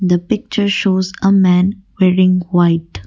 the picture shows a man wearing white.